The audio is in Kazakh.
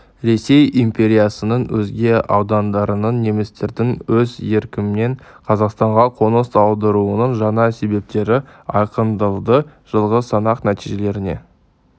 ресей империясының өзге аудандарынан немістердің өз еркімен қазақстанға қоныс аударуының жаңа себептері айқындалды жылғы санақ нәтижелеріне